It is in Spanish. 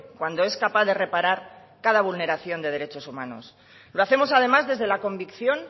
cuando es capaz de reparar cada vulneración de derechos humanos lo hacemos además desde la convicción